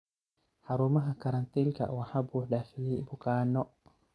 Xarumaha karantiilka waxaa buux dhaafiyay bukaanno.